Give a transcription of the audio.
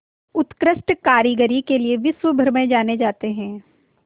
उत्कृष्ट कारीगरी के लिये विश्वभर में जाने जाते हैं